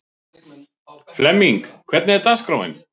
Flemming, hvernig er dagskráin?